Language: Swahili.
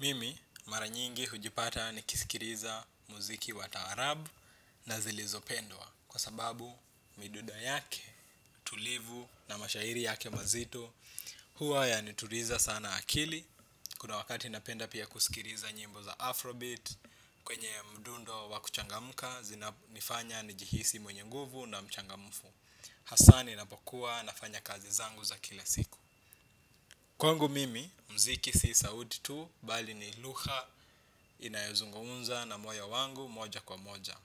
Mimi maranyingi hujipata nikisikiliza muziki wa taarabu na zilizopendwa kwa sababu midundo yake tulivu na mashairi yake mazito hua yanituliza sana akili. Kuna wakati napenda pia kusikiliza nyimbo za Afrobeat. Kwenye mdundo wakuchangamka zinanifanya njihisi mwenye nguvu na mchangamfu. Hasa ninapokuwa nafanya kazi zangu za kila siku. Kwangu mimi, muziki si sauti tu, bali ni lugha inayozungumza na moyo wangu moja kwa moja.